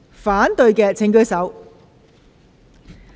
反對的請舉手。